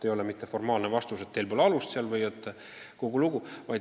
Ei tohi anda formaalset vastust, et teil pole alust seda nõuda, ja kogu lugu.